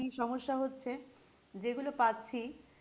কি সমস্যা হচ্ছে যে গুলো পাচ্ছি